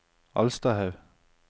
Alstahaug